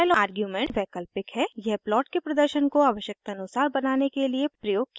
style argument वैकल्पिक है यह प्लॉट के प्रदर्शन को आवश्यकतानुसार बनाने के लिए प्रयोग किया जाता है